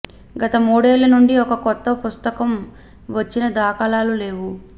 గత మూడేళ్ల నుండి ఒక కొత్త పుస్త కం వచ్చినదాఖలాలు లేవు